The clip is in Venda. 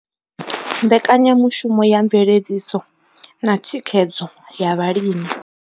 Mbekanyamushumo ya Mveledziso na Thikhedzo ya Vhalimi.